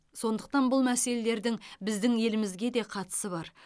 сондықтан бұл мәселелердің біздің елімізге де қатысы бар